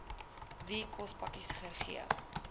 wie kospakkies gegee